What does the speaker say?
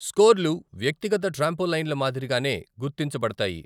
స్కోర్లు వ్యక్తిగత ట్రాంపోలైన్ల మాదిరిగానే గుర్తించబడతాయి.